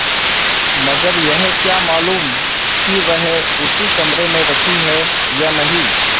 मगर यह क्या मालूम कि वही उसी कमरे में रखी है या नहीं